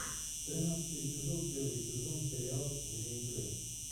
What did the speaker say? тринадцатый эпизод первый сезон сериал вне игры